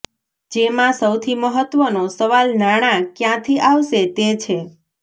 જેમાં સૌથી મહત્ત્વનો સવાલ નાણાં ક્યાંથી આવશે તે છે